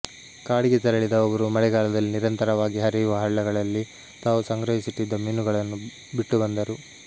ಕಾಡಿಗೆ ತೆರಳಿದ ಅವರು ಮಳೆಗಾಲದಲ್ಲಿ ನಿರಂತರವಾಗಿ ಹರಿಯುವ ಹಳ್ಳಗಳಲ್ಲಿ ತಾವು ಸಂಗ್ರಹಿಸಿಟ್ಟಿದ್ದ ಮೀನುಗಳನ್ನು ಬಿಟ್ಟುಬಂದರು